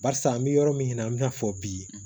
Barisa an bɛ yɔrɔ min na an bɛ na fɔ bi